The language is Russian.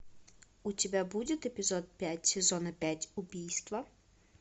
у тебя будет эпизод пять сезона пять убийство